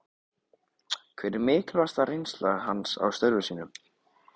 Hver er mikilvægasta reynsla hans af störfum sínum?